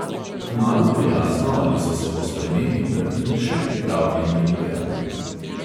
Kmalu bo jasno, ali so se po spremembi pravil še pripravljeni igrati.